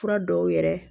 Fura dɔw yɛrɛ